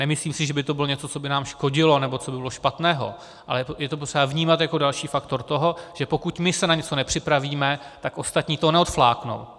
Nemyslím si, že by to bylo něco, co by nám škodilo, nebo co by bylo špatného, ale je to potřeba vnímat jako další faktor toho, že pokud my se na něco nepřipravíme, tak ostatní to neodfláknou.